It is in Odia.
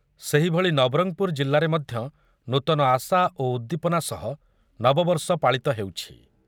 ସେହିଭଳି ନବରଙ୍ଗପୁର ଜିଲ୍ଲାରେ ମଧ୍ୟ ନୂତନ ଆଶା ଓ ଉଦ୍ଦୀପନା ସହ ନବବର୍ଷ ପାଳିତ ହେଉଛି।